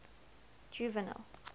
juvenal